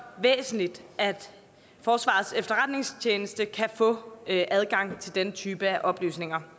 væsentligt at forsvarets efterretningstjeneste kan få adgang til den type oplysninger